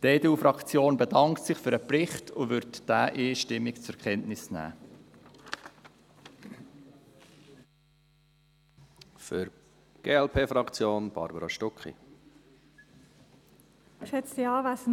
Die EDU-Fraktion bedankt sich für den Bericht und wird ihn einstimmig zur Kenntnis nehmen.